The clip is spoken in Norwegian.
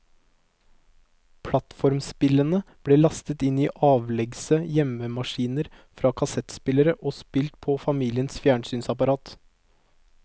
Plattformspillene ble lastet inn i avleggse hjemmemaskiner fra kassettspillere og spilt på familiens fjernsynsapparat.